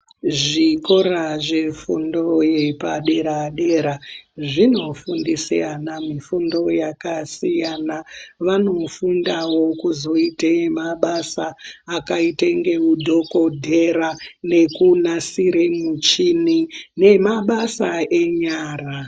Zvikora zvefundo yepadera-dera , zvinofundise ana mifundo yakasiyana. Vanofundawo kuzoite mabasa akaite ngeudhokodhera, nekunasire muchini, nemabasa enyara.